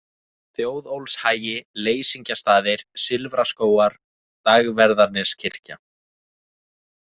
Þjóðólfshagi, Leysingjastaðir, Silfraskógar, Dagverðarneskirkja